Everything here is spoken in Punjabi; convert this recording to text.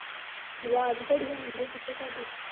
ਅਵਾਜ ਬੜੀ ਆਉਂਦੀ ਪਿੱਛੇ ਤੁਹਾਡੇ?